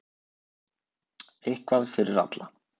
Eitthvað fyrir alla!